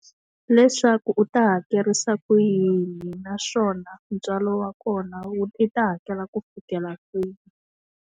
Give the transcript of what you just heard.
Leswaku u ta hakerisa ku yini naswona, ntswalo wa kona i ta hakela ku fikela kwihi?